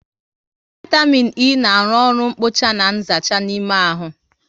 Vaitamịn E na arụ oru nkpocha na nzacha n'ime ahụ